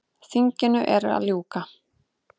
Þinginu er að ljúka.